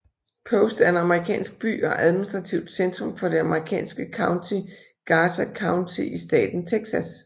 Post er en amerikansk by og administrativt centrum for det amerikanske county Garza County i staten Texas